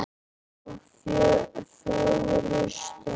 þá fögru steina.